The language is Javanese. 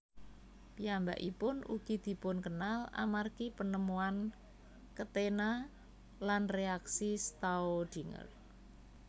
Piyambakipun ugi dipunkenal amargi penemuan ketena lan reaksi Staudinger